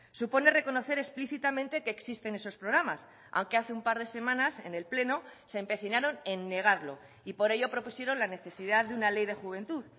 supone reconocer explícitamente que existen esos programas aunque hace un par de semanas en el pleno se empecinaron en negarlo y por ello propusieron la necesidad de una ley de juventud